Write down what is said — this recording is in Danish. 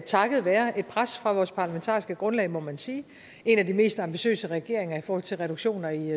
takket være et pres fra vores parlamentariske grundlag må man sige er en af de mest ambitiøse regeringer i forhold til reduktioner i